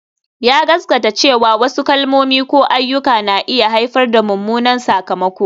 Ya gaskata cewa wasu kalmomi ko ayyuka na iya haifar da mummunan sakamako